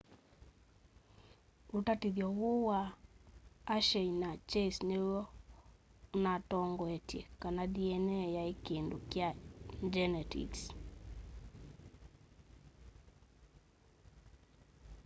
utatithyo uu wa hershey na chase niw'o unatongoetye kana dna yai kindu kya ngyenetiks